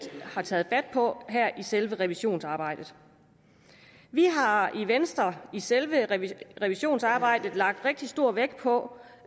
har taget fat på her i selve revisionsarbejdet vi har i venstre i selve revisionsarbejdet lagt rigtig stor vægt på